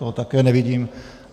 Toho také nevidím.